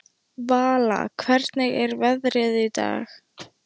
Vala, hvernig er veðrið í dag?